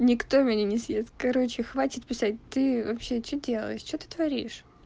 никто меня не съест короче хватит писать ты вообще что делаешь что ты творишь